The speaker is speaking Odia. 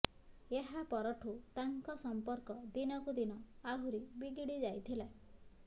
ଏହା ପରଠୁ ତାଙ୍କ ସମ୍ପର୍କ ଦିନକୁ ଦିନ ଆହୁରି ବିଗିଡ଼ିଯାଇଥିଲା